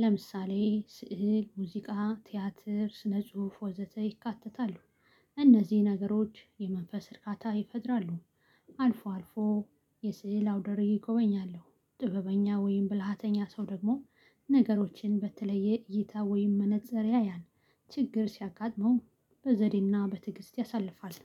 ለምሳሌ ስዕል ሙዚቃ ቲያትር ስነ ጽሁፍ ወዘተ ይካተታሉ። እነዚህ ነገሮች የመንፈስ እርካታ ይፈጥራሉ። አልፎ አልፎ የስዕል አውደርዪ እጎበኛለሁ ጥበበኛ ወይም ብልሃተኛ ሰው ደግሞ ነገሮችን በተለየ እይታ ወይም መነፅር ያያል። ችግር ሲያጋጥመው በዘዴና በትዕግስት ያሳልፋል።